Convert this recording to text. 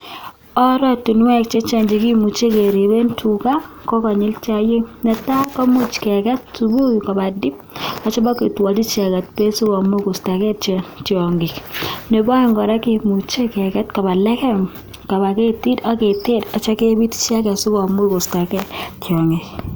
Oratunweek chechang kemuchiii keket Tuga kopa tip pa keistachi piriteek